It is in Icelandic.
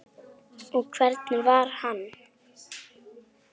Og hvernig var hann?